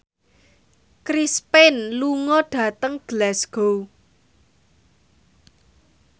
Chris Pane lunga dhateng Glasgow